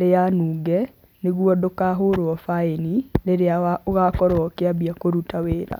rĩa nunge nĩguo ndũkahũrwo baini rĩrĩa ũgakũrwo ũkĩambia kũruta wĩra.